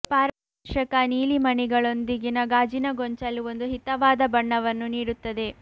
ಪಾರದರ್ಶಕ ನೀಲಿ ಮಣಿಗಳೊಂದಿಗಿನ ಗಾಜಿನ ಗೊಂಚಲು ಒಂದು ಹಿತವಾದ ಬಣ್ಣವನ್ನು ನೀಡುತ್ತದೆ